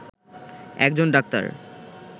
একজন ডাক্তার